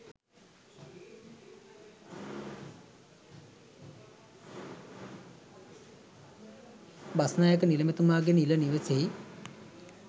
බස්නායක නිලමේතුමාගේ නිල නිවසෙහි